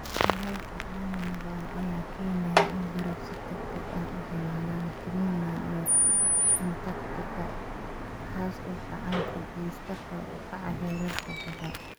Kulaylka caalamiga ah ayaa keenaya in baraf si degdeg ah u dhalaalaan Greenland iyo Antarctica, kaas oo gacan ka geysta kor u kaca heerarka badda.